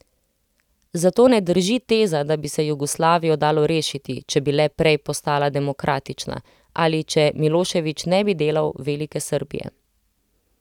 Zato ne drži teza, da bi se Jugoslavijo dalo rešiti, če bi le prej postala demokratična ali če Miloševič ne bi delal Velike Srbije.